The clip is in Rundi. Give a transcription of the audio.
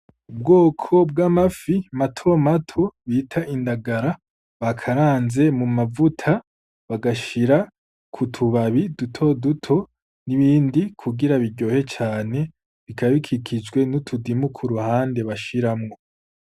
Ubwoko bw'amafi matomato bita indangara bakaranze mu mavuta bagashira kutubabi dutoduto n'ibindi kugira biryohe cane bikaba bikikijwe n'utudimu kuruhande bashiramwo